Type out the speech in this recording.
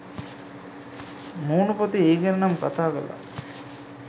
මුණුපොතේ ඒ ගැන නම් කථා කලා.